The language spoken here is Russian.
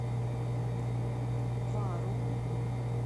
вару